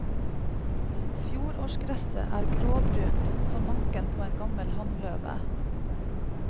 Fjorårsgresset er gråbrunt som manken på en gammel hannløve.